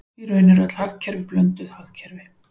Í raun eru öll hagkerfi blönduð hagkerfi.